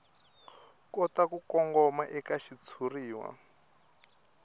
kota ku kongoma eka xitshuriwa